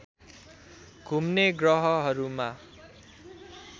घुम्ने ग्रहहरूमा